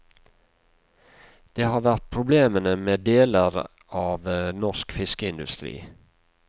Det har vært problemene med deler av norsk fiskeindustri.